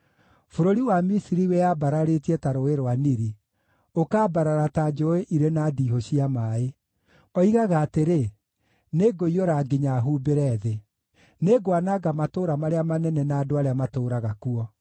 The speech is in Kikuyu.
Bũrũri wa Misiri wĩyambararĩtie ta Rũũĩ rwa Nili, ũkambarara ta njũũĩ irĩ na ndiihũ cia maaĩ. Oigaga atĩrĩ, ‘Nĩngũiyũra nginya humbĩre thĩ; nĩngwananga matũũra marĩa manene na andũ arĩa matũũraga kuo.’